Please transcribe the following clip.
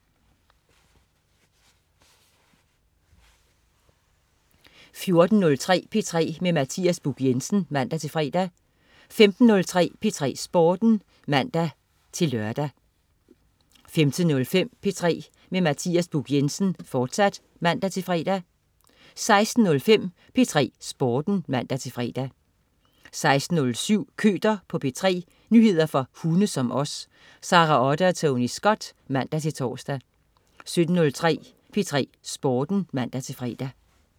14.03 P3 med Mathias Buch Jensen (man-fre) 15.03 P3 Sporten (man-lør) 15.05 P3 med Mathias Buch Jensen, fortsat (man-fre) 16.05 P3 Sporten (man-fre) 16.07 Køter på P3. Nyheder for hunde som os. Sara Otte og Tony Scott (man-tors) 17.03 P3 Sporten (man-fre)